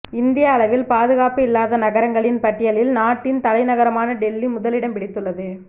இந்திய அளவில் பாதுகாப்பு இல்லாத நகரங்களின் பட்டியலில் நாட்டின் தலைநகரமான டெல்லி முதலிடம் பிடித்துள்ளது